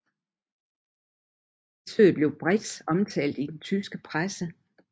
Besøget blev bredt omtalt i den tyske presse